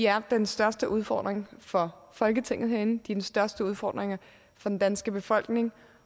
er den største udfordring for folketinget herinde den største udfordring for den danske befolkning